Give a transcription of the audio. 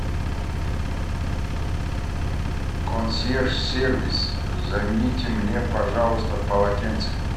консьерж сервис замените мне пожалуйста полотенца